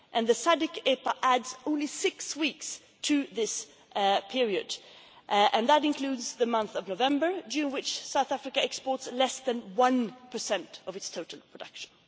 The SADC EPA adds only six weeks to this period, and that includes the month of November, during which South Africa exports less than 1 of its total production.